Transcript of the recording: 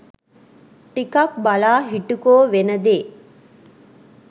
ටිකක් බලා හිටුකෝ වෙන දේ